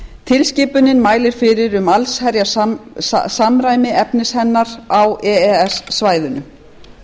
tilskipunin mælir fyrir um allsherjarsamræmi efnis hennar á e e s svæðinu